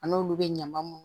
An n'olu bɛ ɲaman mun